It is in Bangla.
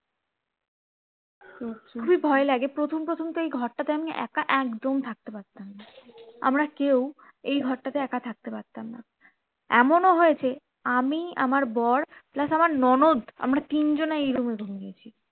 খুবই ভয় লাগে প্রথম প্রথম তো এই ঘর টাতে আমি একা একদম থাকতে পারতাম না আমরা কেউ এই ঘর টাতে একা থাকতে পারতাম না এমনও হয়েছে আমি আমার বর plus আমার ননদ আমরা তিন জনাই এই room এ ঘুমিয়েছি